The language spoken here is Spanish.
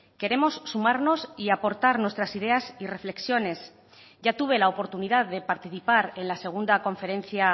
queremos sumarnos y aportar nuestras ideas y reflexiones ya tuve la oportunidad de participar en la segunda conferencia